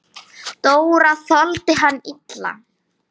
Dóra þoldi það illa.